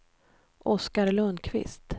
Oscar Lundkvist